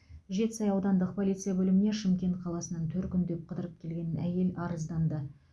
жетісай аудандық полиция бөліміне шымкент қаласынан төркіндеп қыдырып келген әйел арызданды